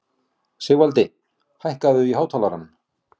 Sigvaldi, hækkaðu í hátalaranum.